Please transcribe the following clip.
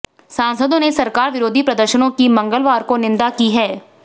सांसदों ने सरकार विरोधी प्रदर्शनों की मंगलवार को निंदा की है